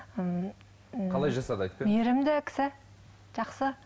ммм қалай жасады айтып берші мейрімді кісі жақсы